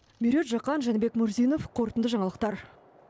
меруерт жақан жәнібек мурзинов қорытынды жаңалықтар